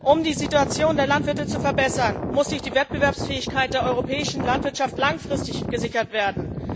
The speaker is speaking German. Um die Situation der Landwirte zu verbessern, muss die Wettbewerbsfähigkeit der europäischen Landwirtschaft langfristig gesichert werden.